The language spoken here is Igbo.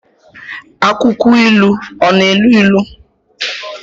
Akwụkwọ ilu ọ na-elu ilu?